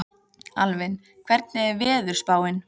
Alvin, hvernig er veðurspáin?